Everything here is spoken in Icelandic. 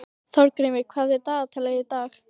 Þorgrímur, hvað er í dagatalinu í dag?